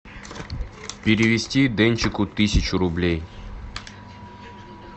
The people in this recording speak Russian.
перевести денчику тысячу рублей